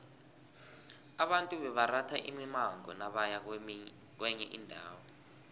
abantu bebaratha imimango nabaya kwenye indawo